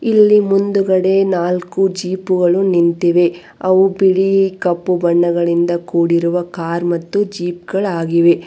ಇಲ್ಲಿ ಮುಂದ್ಗಡೆ ನಾಲ್ಕು ಜೀಪುಗಳು ನಿಂತಿವೆ ಅವು ಬಿಳಿ ಕಪ್ಪು ಬಣ್ಣಗಳಿಂದ ಕೂಡಿರುವ ಕಾರ್ ಮತ್ತು ಜೀಪ್ಗಳು ಆಗಿವೆ.